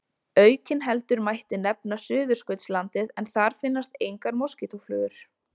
Aukinheldur mætti nefna Suðurskautslandið en þar finnast engar moskítóflugur.